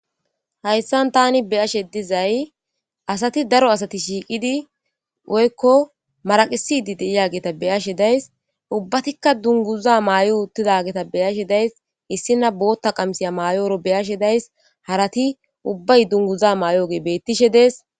Hayssan tani beyashe dizay asati daro asati shiiqidi woykko maraqisidi deiyageta beyashe days ubbatikka dunguza maay'o uttidageta beyashe days issina bootta qamsiya mayooro beyashe days harati ubbay dunguza maay'oge bettishe dees.